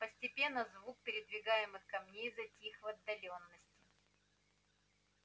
постепенно звук передвигаемых камней затих в отдалении